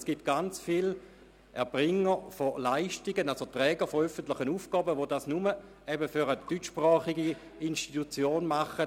Es gibt ganz viele Träger öffentlicher Aufgaben, die ihre Leistungen nur für eine deutschsprachige Region erbringen.